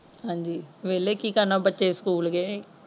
ਹਾਜੀ ਵੇਲੇ ਕਿ ਕਰਨਾ ਬੱਚੇ ਸਕੂਲ ਗਏ।